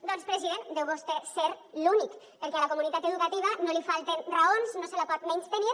doncs president deu vostè ser l’únic perquè a la comunitat educativa no li falten raons no se la pot menystenir